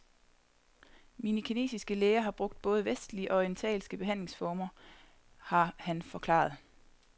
Mine kinesiske læger har brugt både vestlige og orientalske behandlingsformer har han forklaret.